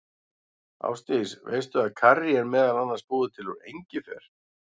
Ásdís, veistu að karrí er meðal annars búið til úr engifer?